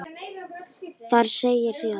Þar segir síðan